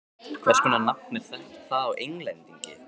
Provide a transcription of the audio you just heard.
Hvers konar nafn er það á Englendingi?